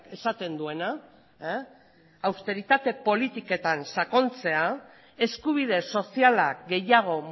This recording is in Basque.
esaten duena austeritate politiketan sakontzea eskubide sozialak gehiago